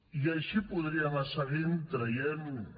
i així podria anar seguint traient ne